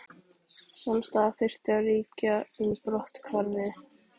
Samstaða þyrfti að ríkja um brotthvarfið